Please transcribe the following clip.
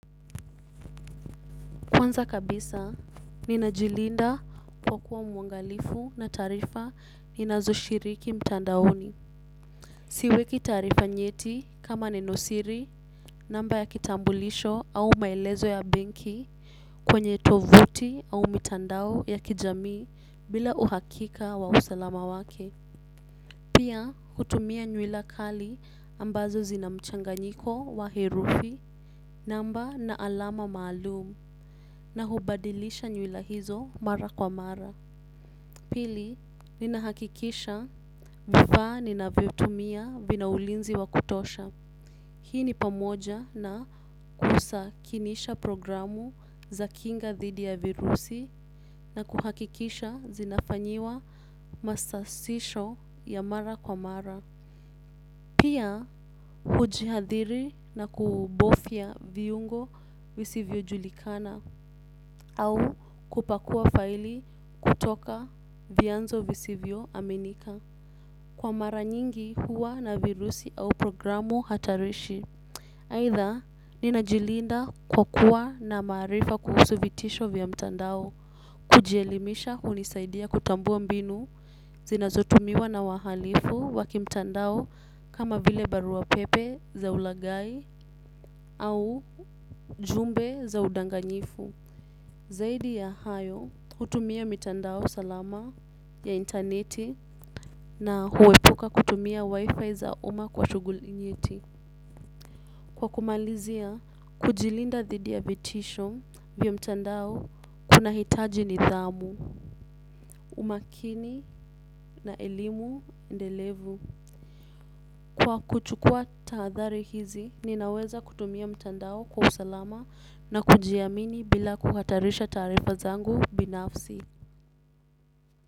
Kwanza kabisa, ninajilinda kwa kuwa mwangalifu na taarifa ninazo shiriki mtandaoni. Siweki taarifa nyeti kama nenosiri, namba ya kitambulisho au maelezo ya benki kwenye tovuti au mitandao ya kijamii bila uhakika wa usalama wake. Pia, hutumia nywila kali ambazo zina mchanganyiko wa herufi, namba na alama maalum. Na hubadilisha nywila hizo mara kwa mara. Pili, nina hakikisha vifaa ninavyotumia vinaulinzi wa kutosha. Hii ni pamoja na kusakinisha programu za kinga dhidi ya virusi na kuhakikisha zinafanyiwa masasisho ya mara kwa mara. Pia, hujihadhiri na kubofya viungo visivyo julikana au kupakua faili kutoka vyanzo visivyo. Aminika. Kwa mara nyingi huwa na virusi au programu hatarishi. Aidha, nina jilinda kwa kuwa na maarifa kuhusu vitisho vya mtandao. Kujielimisha hunisaidia kutambua mbinu zinazotumiwa na wahalifu wa kimtandao kama vile barua pepe za ulagai au ujumbe za udanganyifu. Zaidi ya hayo hutumia mitandao salama ya interneti na huepuka kutumia wifi za uma kwa shughuli nyeti. Kwa kumalizia kujilinda dhidi ya vitisho vya mtandao kuna hitaji nidhamu, umakini na elimu endelevu. Kwa kuchukua tahadhari hizi ninaweza kutumia mitandao kwa usalama na kujiamini bila kuhatarisha taarifa zangu binafsi.